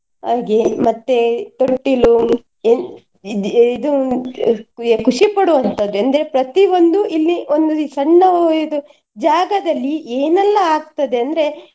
ಹಾಗೆ ಮತ್ತೇ ತೊಟ್ಟಿಲು ಏನ್ ಇದ್~ ಇದು ಖುಷಿ ಪಡುವನ್ತದ್ದು ಅಂದ್ರೆ ಪ್ರತಿ ಒಂದು ಇಲ್ಲಿ ಒಂದು ಸಣ್ಣ ಇದು ಜಾಗದಲ್ಲಿ ಏನೆಲ್ಲಾ ಆಗ್ತದೆ ಅಂದ್ರೆ.